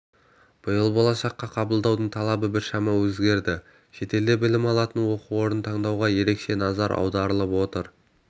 биыл болашаққа қабылдаудың талабы біршама өзгерді шетелде білім алатын оқу орнын таңдауға ерекше назар аударылып отыр